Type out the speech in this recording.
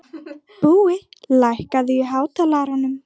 Búi, lækkaðu í hátalaranum.